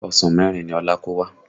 Ọsàn mẹ́rin ni Ọlá kó wá